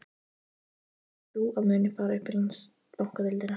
Hvaða lið telur þú að muni fara upp í Landsbankadeildina?